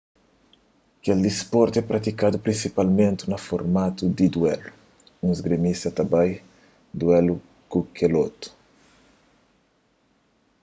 kel disportu é pratikadu prinsipalmenti na formatu di duélu un isgrimista ta bai duélu ku kel otu